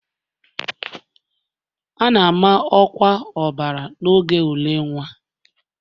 A na-ama ọkwa ọbara n'oge ule nwa